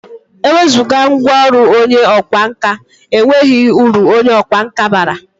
Ewezụga ngwọrụ onye ọkwa nka, e nweghi uru onye ọkwa nka bara.